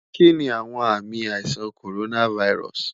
Kini awọn aami aisan ti coronavirus